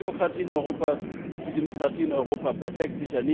Gibt es genug Demokratie in Europa, ist die Demokratie in Europa perfekt?